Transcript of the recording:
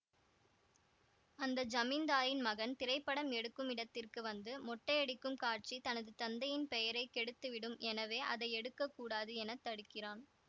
அந்த ஜமீந்தாரின் மகன் திரைப்படம் எடுக்கும் இடத்திற்கு வந்து மொட்டையடிக்கும் காட்சி தனது தந்தையின் பெயரை கெடுத்துவிடும் எனவே அதை எடுக்க கூடாது என தடுக்கிறான்